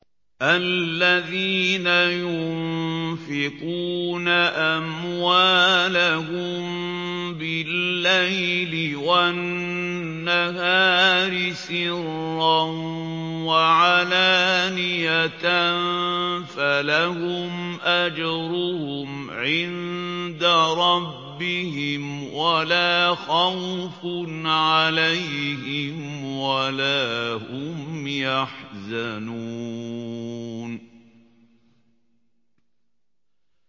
الَّذِينَ يُنفِقُونَ أَمْوَالَهُم بِاللَّيْلِ وَالنَّهَارِ سِرًّا وَعَلَانِيَةً فَلَهُمْ أَجْرُهُمْ عِندَ رَبِّهِمْ وَلَا خَوْفٌ عَلَيْهِمْ وَلَا هُمْ يَحْزَنُونَ